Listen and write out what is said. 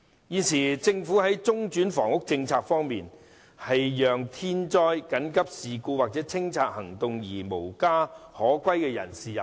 現時政府的中轉房屋政策，是讓因天災、緊急事故或清拆行動而無家可歸的人士入住。